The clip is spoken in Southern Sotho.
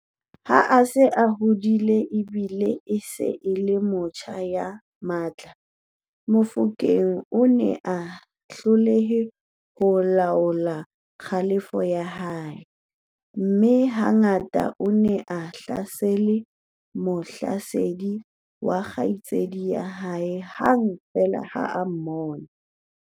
Ha a se a hodile e bile e se e le motjha ya matla, Mofokeng o ne a hloleha ho laola kgalefo ya hae, mme ha ngata o ne a hlasela mohlasedi wa kgaitsedi ya hae hang feela ha a mmona.